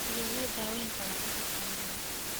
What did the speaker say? Sidee loo daweyn karaa cudurka Mnire?